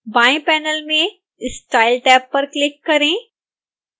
बाएं पैनल में style tab पर क्लिक करें